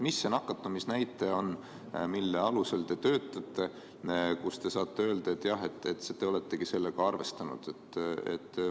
Mis see nakatumisnäitaja on, mille puhul te saate öelda, et jah, te oletegi sellega arvestanud?